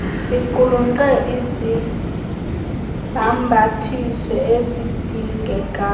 iqulunqe izibhambathiso ezidingekayo